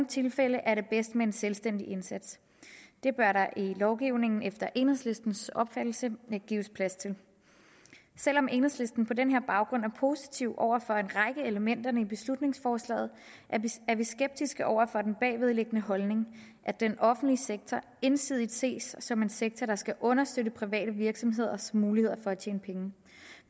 tilfælde er det bedst med en selvstændig indsats det bør der i lovgivningen efter enhedslistens opfattelse gives plads til selv om enhedslisten på denne baggrund er positiv over for en række elementer i beslutningsforslaget er vi skeptiske over for den bagvedliggende holdning at den offentlige sektor ensidigt ses som en sektor der skal understøtte private virksomheders muligheder for at tjene penge